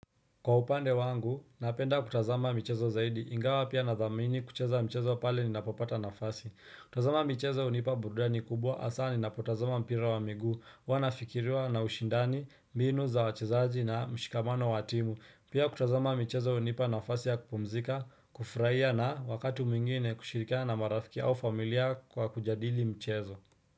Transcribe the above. Kwa upande wangu, napenda kutazama michezo zaidi, ingawa pia na dhamini kucheza mchezo pale ninapo pata nafasi. Kutazama michezo hunipa burudani kubwa hasa ninapo tazama mpira wa miguu, huwa nafikiriwa na ushindani, mbinu za wachezaji na mshikamano wa timu. Pia kutazama mchezo hunipa nafasi ya kupumzika, kufurahia na wakati mwingine kushirikana marafiki au familia kwa kujadili mchezo.